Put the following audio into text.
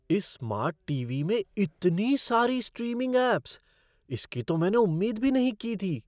इस smart TV. में इतनी सारी स्ट्रीमिंग ऐप्स! इसकी तो मैंने उम्मीद भी नहीं की थी।